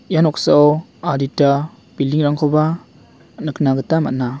ia noksao adita building-rangkoba nikna gita man·a.